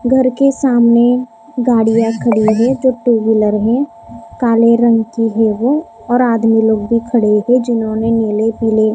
- घर के सामने गाड़ियां खड़ी है जो टू व्हीलर है काले रंग की है वो और आदमी लोग भी खड़े हैं जिन्होंने नीले पीले--